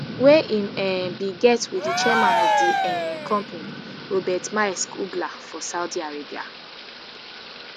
wey im um bin get wit di chairman of di um company robert maersk uggla for saudi arabia